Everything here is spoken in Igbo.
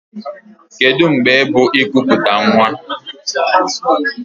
Kedụ mgbe bụ ikuputa nwa?